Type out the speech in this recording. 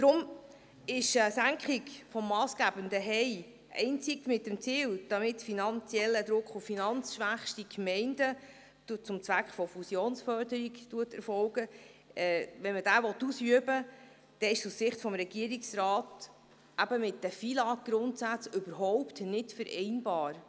Deshalb ist eine Senkung des massgebenden harmonisierten Steuerertragsindex (HEI), die zum Zweck der Fusionsförderung erfolgt, einzig mit dem Ziel, damit finanziellen Druck auf die finanzschwächsten Gemeinden auszuüben, wenn man diesen ausüben will, aus Sicht des Regierungsrats mit den FILAGGrundsätzen überhaupt nicht vereinbar.